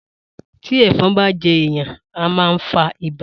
Tí èfon bá je èèyàn a ma fa ibà